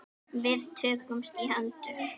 Við tökumst í hendur.